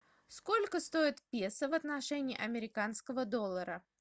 сколько стоит песо в отношении американского доллара